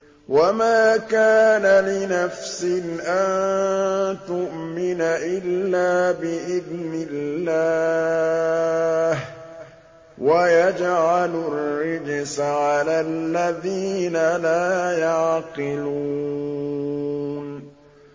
وَمَا كَانَ لِنَفْسٍ أَن تُؤْمِنَ إِلَّا بِإِذْنِ اللَّهِ ۚ وَيَجْعَلُ الرِّجْسَ عَلَى الَّذِينَ لَا يَعْقِلُونَ